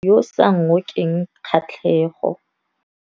Moaparô wa gagwe ke wa mosadi yo o sa ngôkeng kgatlhegô.